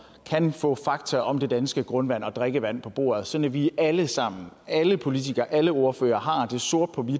kan få fakta om det danske grundvand og drikkevand på bordet sådan at vi alle sammen alle politikere alle ordførere har sort på hvidt